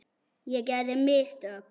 Ég gerði mistök.